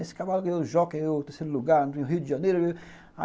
Esse cavalo ganhou o jockey, ganhou o terceiro lugar no Rio de Janeiro.